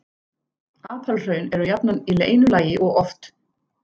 Apalhraun eru jafnan í einu lagi og oft